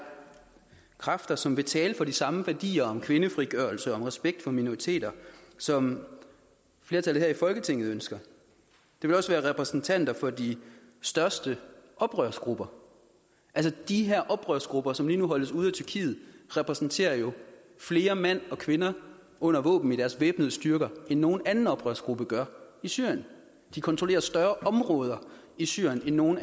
kræfter som vil tale for de samme værdier om kvindefrigørelse og respekt for minoriteter som flertallet her i folketinget ønsker det vil også være repræsentanter for de største oprørsgrupper de her oprørsgrupper som lige nu holdes ude af tyrkiet repræsenterer jo flere mænd og kvinder under våben i deres væbnede styrker end nogen andre oprørsgrupper gør i syrien de kontrollerer større områder i syrien end nogen